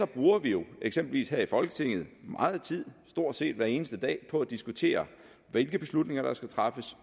bruger vi jo eksempelvis her i folketinget meget tid stort set hver eneste dag på at diskutere hvilke beslutninger der skal træffes